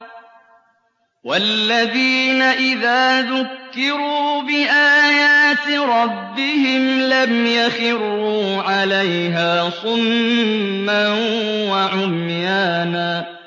وَالَّذِينَ إِذَا ذُكِّرُوا بِآيَاتِ رَبِّهِمْ لَمْ يَخِرُّوا عَلَيْهَا صُمًّا وَعُمْيَانًا